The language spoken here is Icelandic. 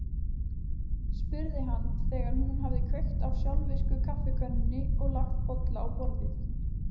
spurði hann þegar hún hafði kveikt á sjálfvirku kaffikönnunni og lagt bolla á borðið.